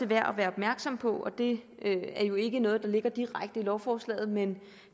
værd at være opmærksom på det er jo ikke noget der ligger direkte i lovforslaget men